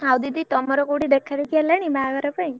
ଆଉ ଦିଦି ତମର କୋଉଠି ଦେଖାଦେଖି ହେଲଣି ବାହାଘର ପାଇଁ?